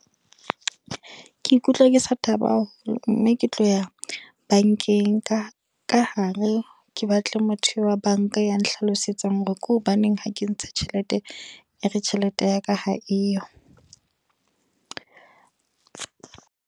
Ke ikutlwa ke sa thaba haholo. Mme ke tlo ya bankeng, ka ka hare. Ke batle motho wa banka ya nhlalosetsa hore ke hobaneng ha ke kentse tjhelete. E re tjhelete ya ka ha eyo.